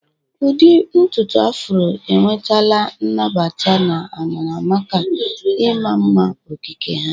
Udi ntutu Afro enwetala nnabata na amara maka ịma mma okike ha.